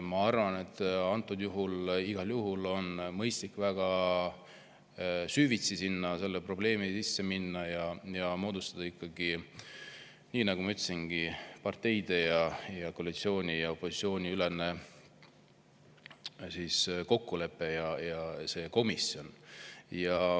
Ma arvan, et antud juhul on mõistlik väga süvitsi selle probleemi sisse minna ja moodustada ikkagi, nii nagu ma ütlesingi, parteide ning koalitsiooni ja opositsiooni ülene kokkulepe ja see komisjon.